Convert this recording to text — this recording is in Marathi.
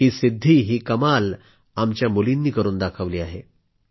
ही सिद्धी ही कमाल आमच्या मुलींनी करून दाखवली आहे